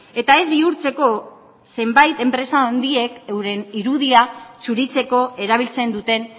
eta ez bihurtzeko zenbait enpresa handiek euren irudia zuritzeko erabiltzen duten